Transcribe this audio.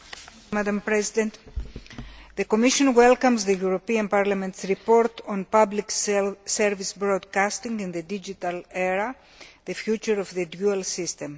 Madam President, the Commission welcomes the European Parliament's report entitled public service broadcasting in the digital era the future of the dual system'.